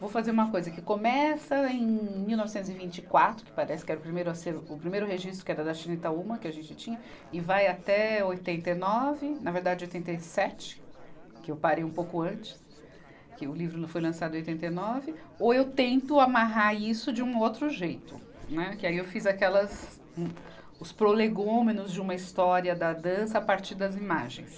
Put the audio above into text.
Vou fazer uma coisa que começa em mil novecentos e vinte e quatro, que parece que era o primeiro acervo, o primeiro registro, que era da Chinitaúma, que a gente tinha, e vai até oitenta e nove, na verdade oitenta e sete, que eu parei um pouco antes, que o livro não foi lançado em oitenta e nove, ou eu tento amarrar isso de um outro jeito, né, que aí eu fiz aquelas, os prolegômenos de uma história da dança a partir das imagens.